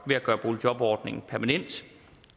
boligjobordningen permanent